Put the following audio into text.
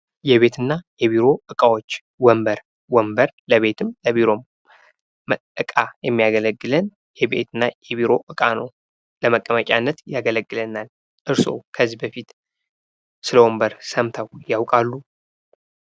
የቤትና የቢሮ እቃዎች ወንበር ወንበር ለቤትም ለቢሮም እቃ የሚያገለግለን የቤትና የቢሮ እቃ ነው። ለመቀመጫነት ያገለግለናል። እርስዎ ከዚህ በፊት ስለ ወንበር ሰምተው ያውቃሉ?